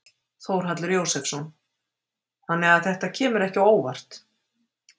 Þórhallur Jósefsson: Þannig að þetta kemur ekki óvart?